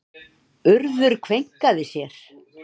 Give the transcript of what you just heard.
Urður kveinkaði sér.